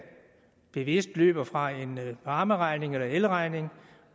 bevidst løber fra en varmeregning eller elregning og